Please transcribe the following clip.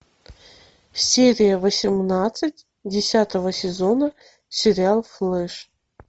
серия восемнадцать десятого сезона сериал флэш